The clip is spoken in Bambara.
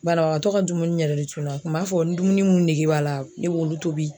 Banabagatɔ ka dumuni yɛrɛ de cunna kun b'a fɔ n dumuni mun nege b'a la ne b'olu tobi